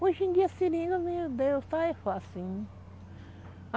Hoje em dia a seringa, meu Deus, está é facinho.